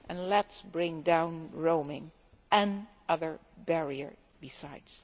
Let us bring down roaming, and other barriers besides.